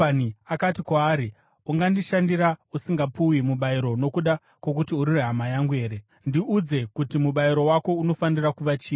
Rabhani akati kwaari, “Ungandishandira usingapuwi mubayiro nokuda kwokuti uri hama yangu here? Ndiudze kuti mubayiro wako unofanira kuva chii?”